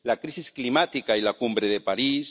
la crisis climática y la Cumbre de París